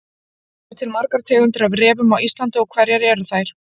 Eru til margar tegundir af refum á Íslandi og hverjar eru þær?